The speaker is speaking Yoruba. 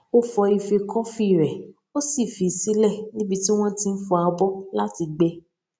ó fọ ife kọfí rè ó sì fi í sílè níbi tí wọn ti n fọ abọ láti gbẹ